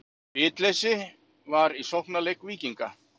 Bitleysi var í sóknarleik Víkinga.